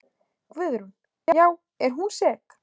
Guðrún: Já er hún sterk?